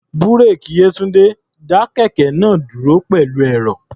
Búréèkì Yétúńdé dá kẹ̀kẹ́ náà dúró pẹ̀lú ẹ̀rọ̀.